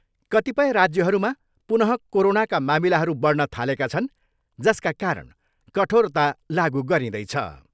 कतिपय राज्यहरूमा पुनः कोरोनाका मामिलाहरू बढ्न थालेका छन् जसका कारण कठोरता लागु गरिँदैछ।